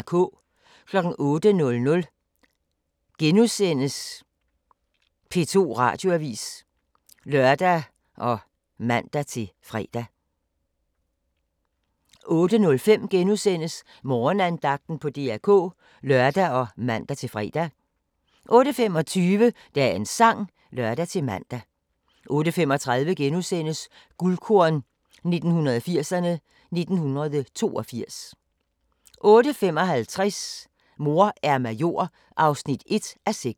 08:00: P2 Radioavis *(lør og man-fre) 08:05: Morgenandagten på DR K *(lør og man-fre) 08:25: Dagens Sang (lør-man) 08:35: Guldkorn 1980'erne: 1982 * 08:55: Mor er major